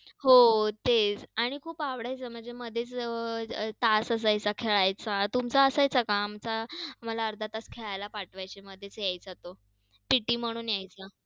मुख्यमंत्री महाराष्ट्राचे सध्याचे मुख्यमंत्री एकनाथ शिंदे हे आहेत. पण माझ्या आवडते मुख्यमंत्री हे देवेंद्र फडणवीस हे होते. सध्या महाराष्ट्र हा